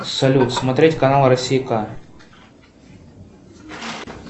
салют смотреть канал россия к